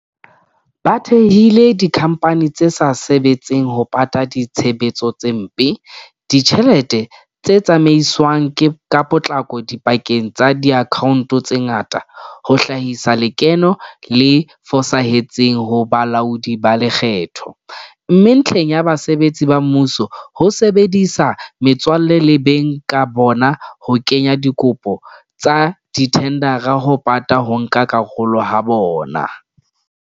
Ba thehile dikhamphani tse sa sebetseng ho pata ditshebetsano tse mpe, ditjhelete tse tsamaiswang ka potlako dipakeng tsa diakhaonto tse ngata, ho hlahisa lekeno le fosahetseng ho balaodi ba lekgetho, mme ntlheng ya basebetsi ba mmuso, ho sebedisa metswalle le beng ka bona ho kenya dikopo tsa dithendara ho pata ho nka karolo ha bona.